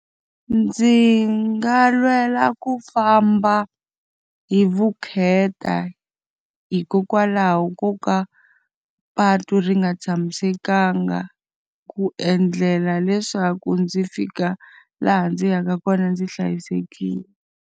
Ndzi nga lwela ku famba hi vukheta hikokwalaho ko ka patu ri nga tshamisekanga, ku endlela leswaku ndzi fika laha ndzi yaka kona ndzi hlayisekile.